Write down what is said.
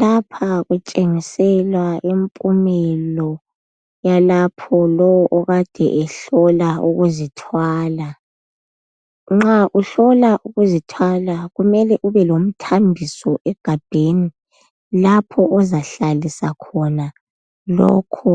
Lapha kutshengisela impulo yalapho lowo okade ehlola ukuzithwala. Nxa ihlola ukuzithwala kumele ube lomtambiso egabheni lapho ozahlalisa lokhu